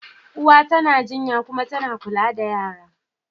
Uwa tana jinya kuma tana kula da yara.